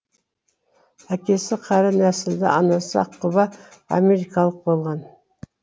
әкесі қара нәсілді анасы аққұба америкалық болған